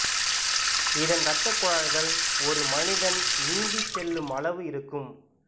இதன் ரத்தக் குழாய்கள் ஒரு மனிதன் நீந்திச் செல்லும் அளவு இருக்கும்